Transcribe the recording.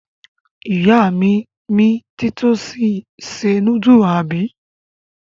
Ìyá mi mi títọ́sì se núdúlù, àbí?